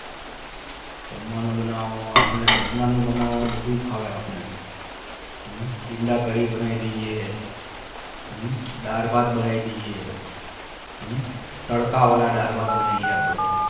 જમવાનું બનવું જમવાનું બનવું બધું ભાવે અપને ઇંડા કદી બનાયી લિયે હમ દાળ ભાત બનાયી દીયે હમ તડકા વાળા દાળ ભાત બનાયી ગયે અપને